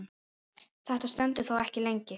Þetta stendur þó ekki lengi.